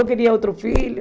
Eu queria outro filho.